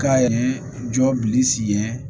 K'a yɛrɛ jɔ bili sigi